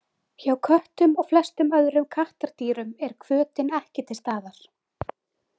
Hjá köttum og flestum öðrum kattardýrum er hvötin ekki til staðar.